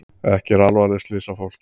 Ekki alvarleg slys á fólki